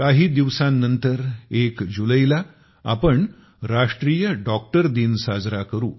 काही दिवसानंतर 1 जुलैला आपण राष्ट्रीय डॉक्टर दिन साजरा करू